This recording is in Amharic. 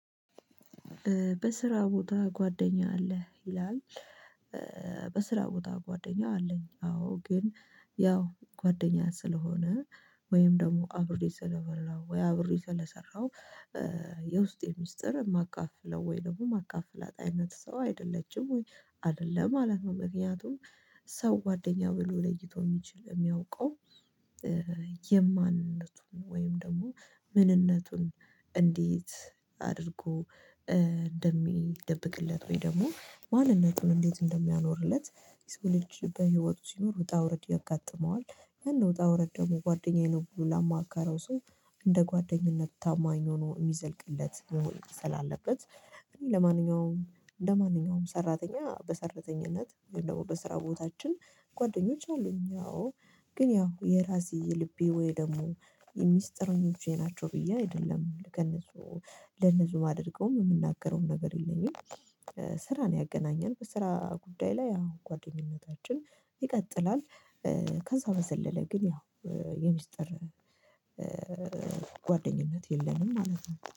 በስራ ቦታ ጓደኛ አለህ ይላል። በስራ ቦታ ጓደኛ አለኝ አዎ ግን ያው ጓደኛ ስለሆነ ወይም ደግሞ አብሬ ስለበላው ወይ አብሬ ስለሰራሁ። የውስጤ ሚስጥር ማካፍለው ወይ ደግሞ ማካፍለት አይነት ሰው አይደለችም ወይ አይደለም ማለት ነው። ምክንያቱም ሰው ጓደኛ ብሎ ለይቶ የሚችል የሚያውቀው የማንነቱን ወይም ደግሞ ምንነቱን እንዴት አድርጎ እንደሚደብቅለት ወይ ደግሞ ማንነቱን እንዴት እንደሚያኖርለት። የሰው ልጅ በህይወቱ ሲኖር ወጣ ውረድ ያጋጥመዋል ያን ውጣ ውረድ ደግሞ ጓደኛዬ ነው ብሎ ላማካረው ሰው እንደ ጓደኝነት ታማኝ ሆኖ የሚዘልቅለት። ስላለበት እኔ ለማንኛውም እንደማንኛውም ሰራተኛ በሰራተኝነት ወይም ደግሞ በስራ ቦታችን ጓደኞች አሉኝ። ያው ግን ያው የራሴ የልቤ ወይ ደግሞ የሚስጥረኞቼ ናቸው ብዬ አይደለም ከእነሱ ለእነሱ ማደርገውም የምናገረውም ነገር የለኝም። ስራ ነው ያገናኘን በስራ ጉዳይ ላይ አወ ጓደኝነታችን ይቀጥላል። ከዛ በዘለለ ግን ያው የምስጢር ጓደኝነት የለንም ማለት ነው